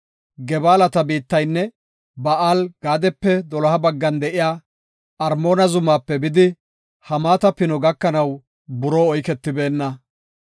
Gebaalata biittaynne Ba7aal-Gaadepe doloha baggan de7iya Armoona zumaape bidi, Hamaata pino gakanaw buroo oyketibeenna.